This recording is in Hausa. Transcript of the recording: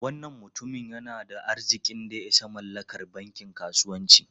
Wannan mutumin yana da arzikin da ya isa mallakar bankin kasuwanci.